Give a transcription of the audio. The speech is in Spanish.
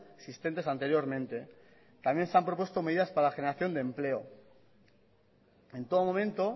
existentes anteriormente también se han propuesto medidas para la generación de empleo en todo momento